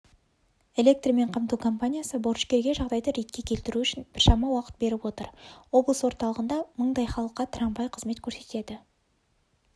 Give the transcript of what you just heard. электрмен қамту компаниясы борышкерге жағдайды ретке келтіру үшін біршама уақыт беріп отыр облыс орталығында мыңдай халыққа трамвай қызмет көрсетеді